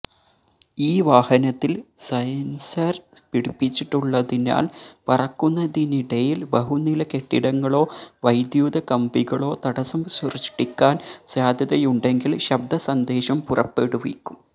ഈ വാഹനത്തില് സെന്സര് പിടിപ്പിച്ചിട്ടുള്ളതിനാല് പറക്കുന്നതിനിടയില് ബഹുനില കെട്ടിടങ്ങളോ വൈദ്യുത കമ്പികളോ തടസ്സം സൃഷ്ടിക്കാന് സാധ്യതയുണ്ടെങ്കില് ശബ്ദ സന്ദേശം പുറപ്പെടുവിക്കും